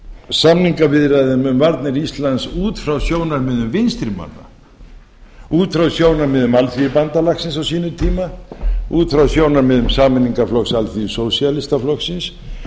samningaviðræðum um varnir íslands út frá sjónarmiðum vinstri manna út frá sjónarmiðum alþýðubandalagsins á sínum út frá sjónarmiðum sameiningarflokks alþýðu sósíalistaflokksins